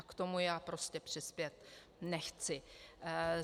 A k tomu já prostě přispět nechci.